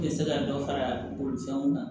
Tɛ se ka dɔ fara bolifɛnw kan